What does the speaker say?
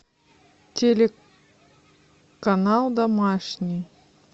телеканал домашний